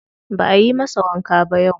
Ba ayi masa wanka ba yau.